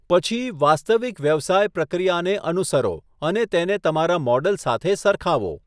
પછી, વાસ્તવિક વ્યવસાય પ્રક્રિયાને અનુસરો અને તેને તમારા મૉડલ સાથે સરખાવો.